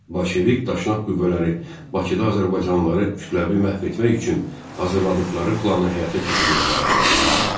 Bolşevik-Daşnak qüvvələri Bakıda azərbaycanlıları kütləvi məhv etmək üçün hazırladıqları planı həyata keçirməyə başladılar.